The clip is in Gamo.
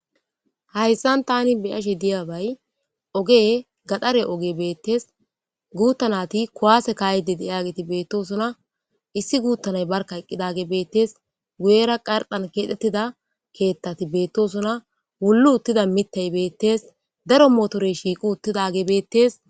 Ha misiliyan Tani be'ashe dizayi gaxare ogey betes gutha nayti kuwase ka'ishe dosona issi gutha nay betes guyeraka qarxan kexetida kethay betes wuli utida mithay betes motoreyka betes